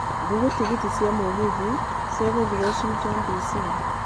Google tigiti cia mũgithi cia gũthiĩ Washington D.C